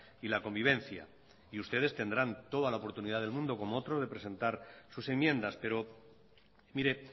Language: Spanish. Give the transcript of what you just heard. y la convivencia y ustedes tendrán toda la oportunidad del mundo como otros de presentar sus enmiendas pero mire